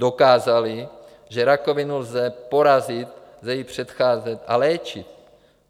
Dokázali, že rakovinu lze porazit, lze jí předcházet a léčit.